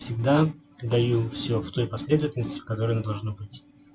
всегда даю все в той последовательности в которой она должно быть